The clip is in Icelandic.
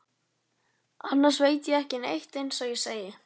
Annars veit ég ekki neitt eins og ég segi.